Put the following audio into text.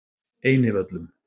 Einivöllum